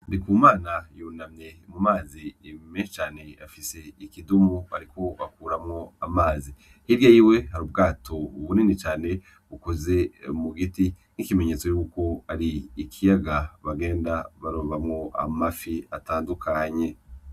Ndikumana yunamye mu mazi menshi cane, afise ikudumu ariko akuramwo amazi, hirya yiwe hari ubwato bunini cane bukoze mu giti nk'ikimenyetso yuko ari ikiyaga bagenda barobamwo amafi atandukanye.